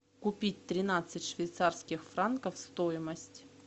купить тринадцать швейцарских франков стоимость